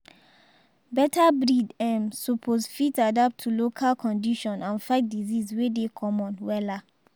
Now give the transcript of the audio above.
better breed um suppose fit adapt to local condition and fight disease wey dey common wella.